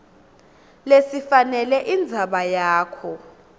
lesifanele indzaba yakho